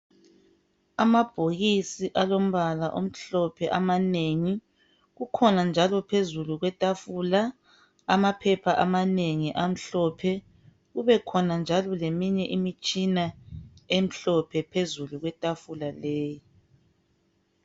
Amabhokisi alombala omhlophe amanengi kukhona njalo phezulu kwetafula amaphepha amanengi amhlophe kubekhona njalo leminye imitshina emhlophe phezulu kwetafula leyi.